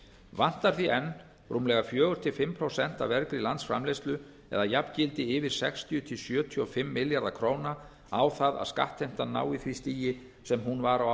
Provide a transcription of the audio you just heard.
vantar því enn rúmlega fjögur til fimm prósent af vergri landsframleiðslu eða jafngildi yfir sextíu sjötíu og fimm milljarða ár það að skattheimtan nái því stigi sem hún var á